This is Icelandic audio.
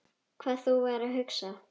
Hvað þú værir að hugsa.